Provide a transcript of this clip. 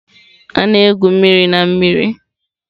A na-egwu mmiri na mmiri.